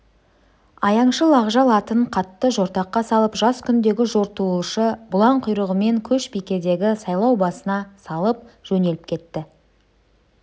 аяңшыл ақжал атын қатты жортаққа салып жас күндегі жортуылшы бұлаң құйрығымен көшбикедегі сайлау басына салып жөнеліп кетті